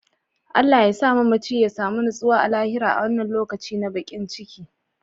Allah yasa mamaci ya samu nutsuwa a lahira a wannan lokaci na bakin ciki.